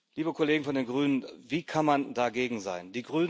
Liebe Kollegen von den Grünen, wie kann man dagegen sein?